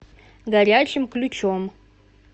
горячим ключом